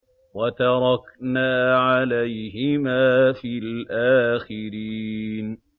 وَتَرَكْنَا عَلَيْهِمَا فِي الْآخِرِينَ